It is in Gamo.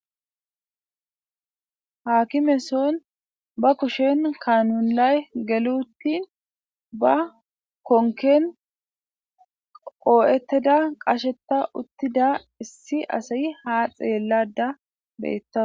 haakimeson ba kushen kanulay geluttin ba konken qoo7etteda qasheta uttida issi asayi ha xeellada beettawa